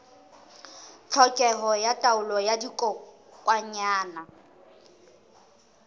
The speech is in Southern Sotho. tlhokeho ya taolo ya dikokwanyana